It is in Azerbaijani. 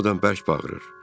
Hamıdan bərk bağırır.